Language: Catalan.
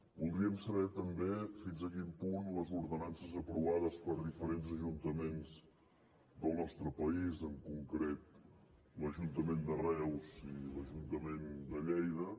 voldríem saber també fins a quin punt les ordenances aprovades per diferents ajuntaments del nostre país en concret l’ajuntament de reus i l’ajuntament de lleida